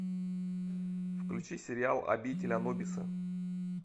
включи сериал обитель анубиса